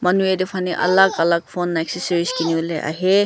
manu yete faneh alak alak phone accessories kini bolae ahae.